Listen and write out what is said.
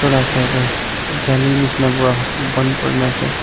tola osor tae jali nishina pra bon kurinaase.